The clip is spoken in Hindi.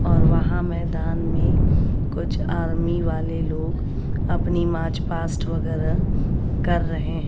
और वहां मैदान में कुछ आर्मी वाले लोग अपनी मार्च पास्ट वगैरह कर रहें--